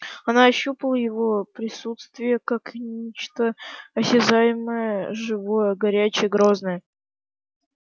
она ощущала его присутствие как нечто осязаемое живое горячее грозное